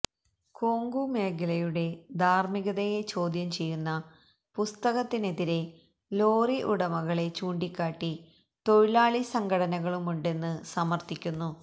കൊങ്കു മേഖലയുടെ ധാര്മികതയെ ചോദ്യം ചെയ്യുന്ന പുസ്തകത്തിനെതിരെ ലോറി ഉടമകളെ ചൂണ്ടിക്കാട്ടി തൊഴിലാളി സംഘടനകളുമുണ്ടെന്ന് സമര്ഥിക്കുന്നു